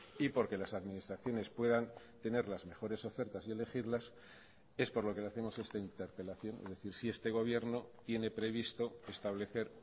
y porque las administraciones puedan tener las mejores ofertas y elegirlas es por lo que le hacemos esta interpelación es decir si este gobierno tiene previsto establecer